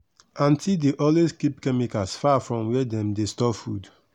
aunty dey always keep chemicals far from where dem dey store food.